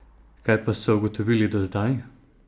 Kaj pa so ugotovili do zdaj?